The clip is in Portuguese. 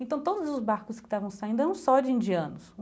Então, todos os barcos que estavam saindo eram só de indianos.